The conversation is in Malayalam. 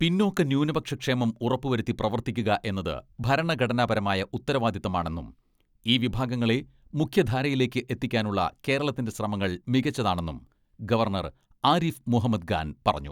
പിന്നോക്ക, ന്യൂനപക്ഷ ക്ഷേമം ഉറപ്പുവരുത്തി പ്രവർത്തിക്കുക എന്നത് ഭരണഘടനാപരമായ ഉത്തരവാദിത്തമാണെന്നും ഈ വിഭാഗങ്ങളെ മുഖ്യധാരയിലേക്ക് എത്തിക്കാനുള്ള കേരളത്തിന്റെ ശ്രമങ്ങൾ മികച്ചതാണെന്നും ഗവർണർ ആരിഫ് മുഹമ്മദ് ഗാൻ പറഞ്ഞു.